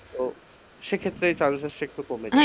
ও সেক্ষেত্রে chances তা একটু কমে যাই,